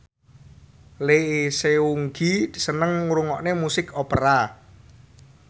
Lee Seung Gi seneng ngrungokne musik opera